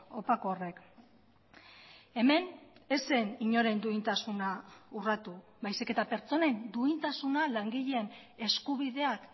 opako horrek hemen ez zen inoren duintasuna urratu baizik eta pertsonen duintasuna langileen eskubideak